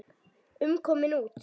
um komin út.